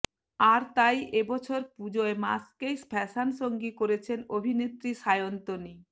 আর তাই এবছর পুজোয় মাস্ককেই ফ্যাশন সঙ্গী করেছেন অভিনেত্রী সায়ন্তনী